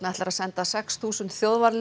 ætlar að senda sex þúsund